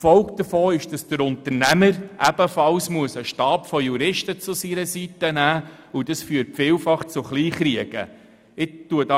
Die Folge davon ist, dass sich der Unternehmer ebenfalls einen Stab von Juristen zur Seite stellen muss, was vielfach zu Kleinkriegen führt.